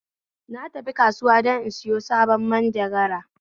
Na tafi kasuwa don in sayo sabon manjagara